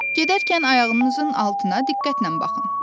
Gedərkən ayağınızın altına diqqətlə baxın.